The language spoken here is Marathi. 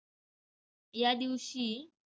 या दिवशी